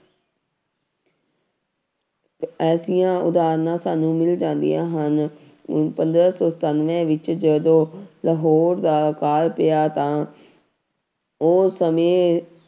ਐਸੀਆਂ ਉਦਾਹਰਨਾਂ ਸਾਨੂੰ ਮਿਲ ਜਾਂਦੀਆਂ ਹਨ, ਪੰਦਰਾਂ ਸੌ ਸਤਾਨਵੇਂ ਵਿੱਚ ਜਦੋਂ ਲਾਹੌਰ ਦਾ ਅਕਾਲ ਪਿਆ ਤਾਂ ਉਹ ਸਮੇਂ